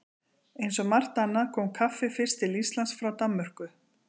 Eins og margt annað kom kaffið fyrst til Íslands frá Danmörku.